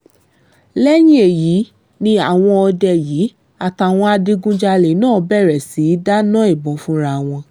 lẹ́yìn èyí ni àwọn òde yìí àtàwọn adigunjalè náà bẹ̀rẹ̀ sí í dáná ìbọn fúnra wọn